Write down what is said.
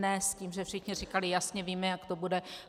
Ne s tím, že všichni říkali: Jasně víme, jak to bude.